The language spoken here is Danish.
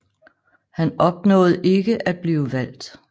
Han opnåede ikke at blive valgt